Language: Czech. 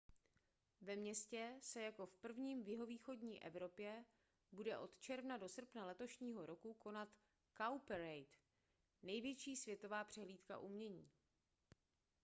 ve městě se jako v prvním v jihovýchodní evropě bude od června do srpna letošního roku konat cowparade největší světová přehlídka umění